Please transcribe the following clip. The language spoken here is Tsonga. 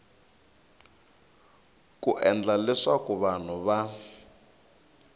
ku endla leswaku vanhu va